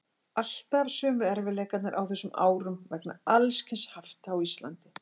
Alltaf sömu erfiðleikarnir á þessum árum vegna alls kyns hafta á Íslandi.